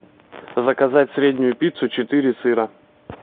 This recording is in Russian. заказать среднюю пиццу четыре сыра